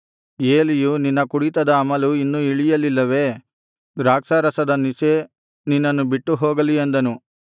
ಏಲಿಯು ನಿನ್ನ ಕುಡಿತದ ಅಮಲು ಇನ್ನೂ ಇಳಿಯಲಿಲ್ಲವೇ ದ್ರಾಕ್ಷಾರಸದ ನಿಶೆ ನಿನ್ನನ್ನು ಬಿಟ್ಟು ಹೋಗಲಿ ಅಂದನು